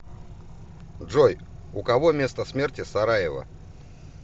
джой у кого место смерти сараево